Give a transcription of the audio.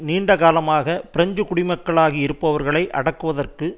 நீண்ட காலமாக பிரெஞ்சு குடிமக்களாகி இருப்பவர்களை அடக்குவதற்கு